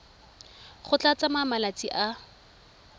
go tla tsaya malatsi a